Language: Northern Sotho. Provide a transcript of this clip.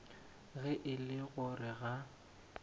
ge e le gore ga